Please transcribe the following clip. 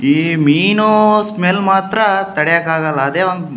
ಈ ಮೀನಿನ್ ಸ್ಮೆಲ್ ಮಾತ್ರ ತಡೆಯಕ್ಕಾಗಲ್ಲ ಅದೇ ಒಂದು.